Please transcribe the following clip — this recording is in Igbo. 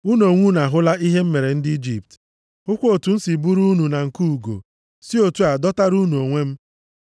‘Unu onwe unu ahụla ihe m mere ndị Ijipt, hụkwa otu m siri buru unu na nku ugo, + 19:4 Ọ bụ na nku ka nne ugo na-ebu ụmụ ya ma ọ na-erugharị nʼelu \+xt Dit 32:11.\+xt* si otu a, dọtara unu onwe m.